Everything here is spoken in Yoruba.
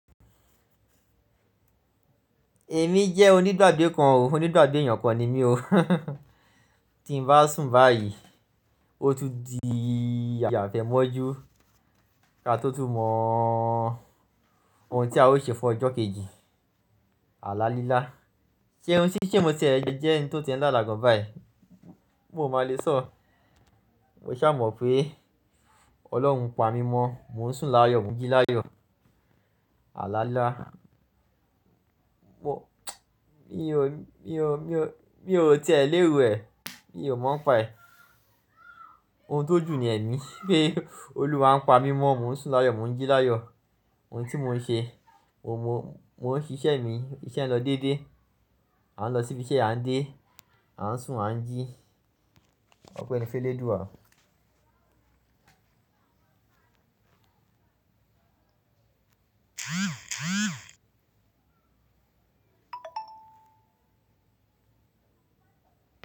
Èmi jẹ́ onígbàgbé kan o, onígbàgbé èèyàn kan ni mí o. Tí n bá sùn báyìí, ó tún di àfẹ́mọ́jú kí a tó tún mọ ohun tí a o ṣe fún ọjọ́ kejì. Àlá lílá. Ṣé ohun tí ṣé n mo tie jẹ ẹ́ni tí o tie ń lala gan báyìí? N ò ma lé sọ. Mo sa mọ̀ pé Ọlọ́run ń pa mí mọ́, mò ń sùn láyọ̀, mò ń jí láyọ̀. Àlá lílá. Mo mi ò, mi ò, mi ò, mi ò tiẹ̀ léro ẹ̀, mi ò mọ̀ npaẹ̀. Ohun tó jù ni pé Olúwa ń pa mí mọ́, mò ń sùn láyọ̀, mò ń jí láyọ̀. Ohun tí mò ń ṣe, mo mọ, mò ń ṣíṣe mi, iṣẹ́ n lọ dédé. À ń lọ síbi iṣẹ́, à ń dé, à ń sùn, à ń jí. Ọpẹ́ ni f'ẹ́lédúa.